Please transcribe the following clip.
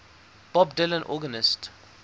bob dylan organist